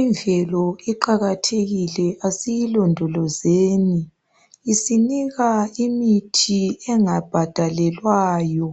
Imvelo iqakathekile asiyilondolozeni isinika imithi engabhadalelwayo.